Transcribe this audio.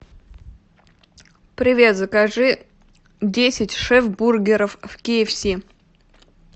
привет закажи десять шеф бургеров в ки эф си